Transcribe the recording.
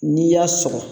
N'i y'a sɔgɔ